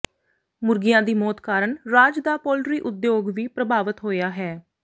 ਮੁਰਗੀਆਂ ਦੀ ਮੌਤ ਕਾਰਨ ਰਾਜ ਦਾ ਪੋਲਟਰੀ ਉਦਯੋਗ ਵੀ ਪ੍ਰਭਾਵਤ ਹੋਇਆ ਹੈ